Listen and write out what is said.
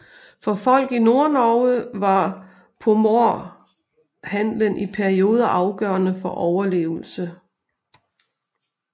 For folk i Nordnorge var pomorhandelen i perioder afgørende for overlevelse